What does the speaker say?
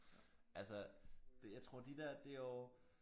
Altså det jeg tror de der det jo